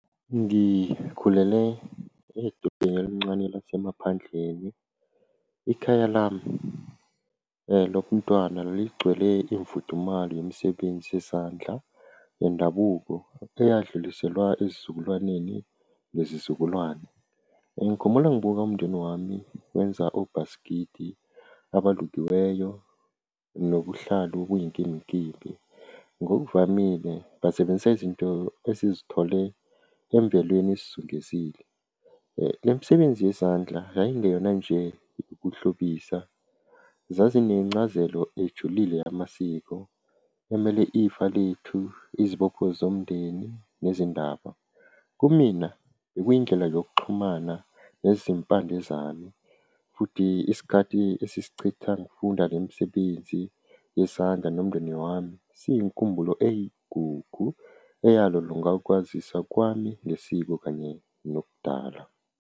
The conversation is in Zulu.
Ngikhulele edolobheni elincane lasemaphandleni, ikhaya lami lobuntwana beligcwele imfudumolo yemsebenzi yesandla yendabuko eyadluliselwa esizulwaneni nezizukulwane. Ngikhumbula ngibuka umndeni wami wenza obhasikidi abalukiweyo nobuhlalu obuyinkimbinkimbi. Ngokuvamile basebenzisa izinto esizithole emvelweni esizungezile. Le msebenzi yezandla yayingeyona nje ukuhlobisa, zazinezincazelo ejulile yamasiko, kumele ifa lethu, izibopho zomndeni nezindaba. Kumina bekuyindlela yokuxhumana ngezimpande zami, futhi isikhathi esisichitha ngokufunda le misebenzi yesandla nomndeni wami, siyinkumbulo eyigugu eyalolonga ukwazisa kwami nesimo kanye nobudala.